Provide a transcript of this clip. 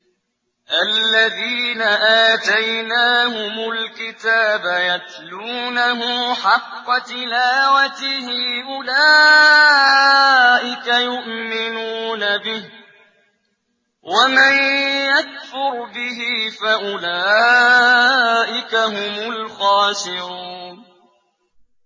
الَّذِينَ آتَيْنَاهُمُ الْكِتَابَ يَتْلُونَهُ حَقَّ تِلَاوَتِهِ أُولَٰئِكَ يُؤْمِنُونَ بِهِ ۗ وَمَن يَكْفُرْ بِهِ فَأُولَٰئِكَ هُمُ الْخَاسِرُونَ